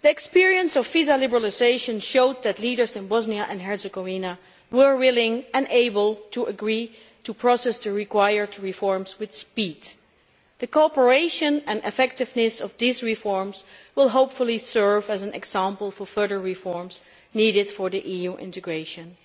The experience of visa liberalisation showed that leaders in Bosnia and Herzegovina were willing and able to agree to process the required reforms quickly. The cooperation and effectiveness of these reforms will, hopefully, serve as an example for further reforms needed for EU integration,